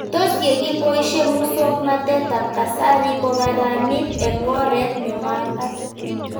Tos ye kipoishe muswognatet ab kasari ko karanit eng' oret ne makat